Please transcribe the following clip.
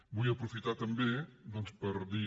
vull aprofitar també doncs per dir